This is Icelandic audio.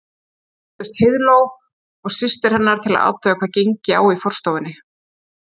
Nú birtust Heiðló og systir hennar til að athuga hvað gengi á í forstofunni.